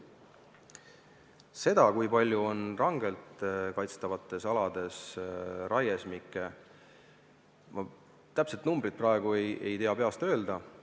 Seda, kui palju on rangelt kaitstavatel aladel raiesmikke, ma täpselt ei tea peast öelda.